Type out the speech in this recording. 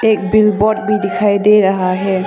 एक big boat भी दिखाई दे रहा है।